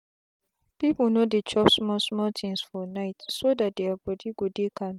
people no dey chop small small things for nightso that their body go dey kampe.